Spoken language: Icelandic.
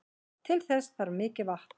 Til þess þarf mikið vatn.